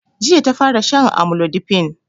Jiya ta fara shan amlodipine